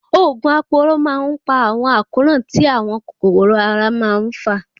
Òògùn aporó má ń pa àwọn àkóràn tí àwọn kòkòrò ara má ń fà.